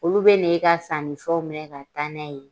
Olu bɛ na e ka sannifɛnw minɛ ka taa n'a ye